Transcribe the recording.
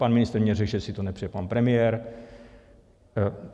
Pan ministr mně řekl, že si to nepřeje pan premiér.